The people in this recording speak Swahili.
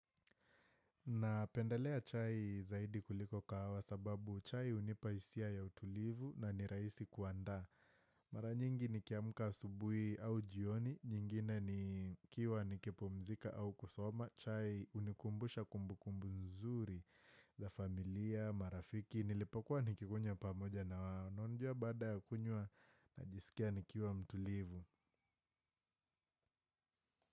Napendalea chai zaidi kuliko kahawa sababu chai hunipa hisia ya utulivu na ni rahisi kuandaa. Mara nyingi ni kiamuka subui au jioni, nyingine ni kiwa nikipomzika au kusoma. Chai unikumbusha kumbukumbu nzuri za familia, marafiki, nilipokuwa nikikunya pamoja na wanonjua bada ya kunyua na jisikia nikiuwa mtulivu.